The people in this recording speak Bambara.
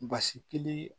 Basi kelen